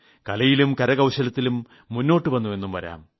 കലയിലും കരകൌശലത്തിലും മുന്നോട്ടുവന്ന എന്നു വരാം